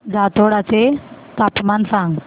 जातोडा चे तापमान सांग